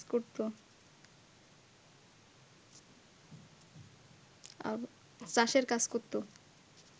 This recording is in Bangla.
চাষের কাজ করত